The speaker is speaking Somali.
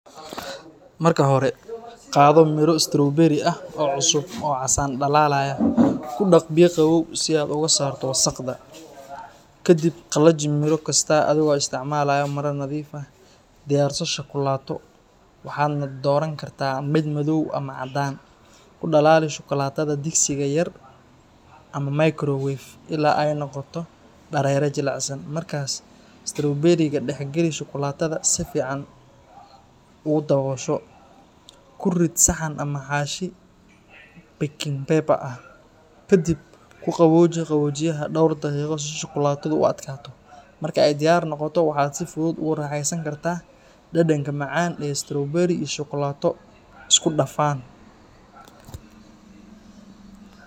Marka hore, qado miro strawberry ah oo cusub oo casan dhalaalaya. Ku dhaq biyo qabow si aad uga saarto wasakhda. Ka dib, qallaji miro kasta adigoo isticmaalaya maro nadiif ah. Diyaarso shukulaato, waxaadna dooran kartaa mid madow ama caddaan. Ku dhalaali shukulaatada digsiga yar ama microwave ilaa ay noqoto dareere jilicsan. Markaas, strawberry-ga dhex geli shukulaatada si fiican ugu daboosho. Ku rid saxan ama xaashi baking paper ah. Ka dib, ku qabooji qaboojiyaha dhowr daqiiqo si shukulaatadu u adkaato. Marka ay diyaar noqoto, waxaad si fudud ugu raaxeysan kartaa dhadhanka macaan ee strawberry iyo shukulaato isku dhafan.